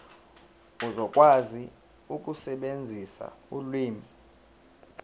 uzokwazi ukusebenzisa ulimi